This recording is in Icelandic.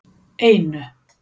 einu